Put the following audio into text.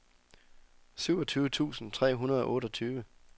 syvogtyve tusind tre hundrede og otteogtyve